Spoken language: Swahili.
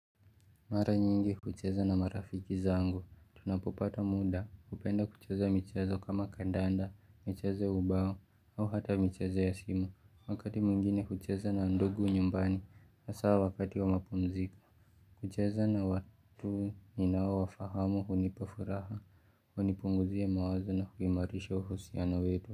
Mara nyingi kucheza na marafiki zangu, tunapopata muda, hupenda kucheza michezo kama kandanda, michezo ubao, au hata michezo ya simu, wakati mwingine hucheza na ndugu nyumbani, hasawa wakati wa mapumziko. Kucheza na watu ninao wafahamu hunipafuraha, hunipunguzia mawazo na huimarisha uhusiano wetu.